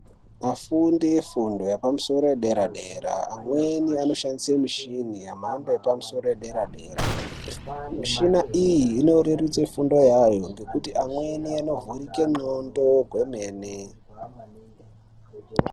Vafundi vefundo yepamusoro yepaderadera amweni anoshandisa mishini yemhando yepamusoro yederadera. Mishini iyi inorerutsa fundo ngekuti amweni anovhurike ndxondo dzemene.